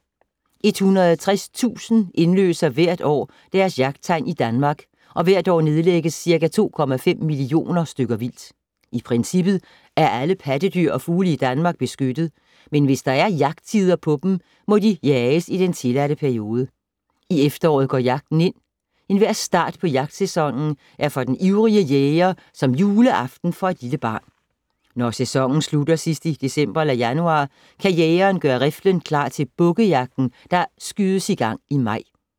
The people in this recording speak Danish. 160.000 indløser hvert år deres jagttegn i Danmark og hvert år nedlægges ca. 2,5 millioner stykker vildt. I princippet er alle pattedyr og fugle i Danmark beskyttet, men hvis der er jagttider på dem, må de jages i den tilladte periode. I efteråret går jagten ind. Enhver start på jagtsæsonen er for den ivrige jæger som juleaften for et lille barn. Når sæsonen slutter sidst i december/januar kan jægeren gøre riflen klar til bukkejagten, der skydes i gang i maj.